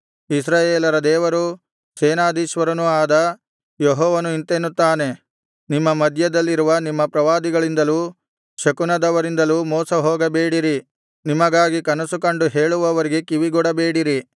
ಇಸ್ರಾಯೇಲರ ದೇವರೂ ಸೇನಾಧೀಶ್ವರನೂ ಆದ ಯೆಹೋವನು ಇಂತೆನ್ನುತ್ತಾನೆ ನಿಮ್ಮ ಮಧ್ಯದಲ್ಲಿರುವ ನಿಮ್ಮ ಪ್ರವಾದಿಗಳಿಂದಲೂ ಶಕುನದವರಿಂದಲೂ ಮೋಸಹೋಗಬೇಡಿರಿ ನಿಮಗಾಗಿ ಕನಸುಕಂಡು ಹೇಳುವವರಿಗೆ ಕಿವಿಗೊಡಬೇಡಿರಿ